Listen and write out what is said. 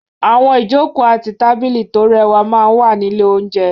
Àwọn ìjókòó àti tábìlì tó rẹwà máa ń wà ní ilé-oúnjẹ.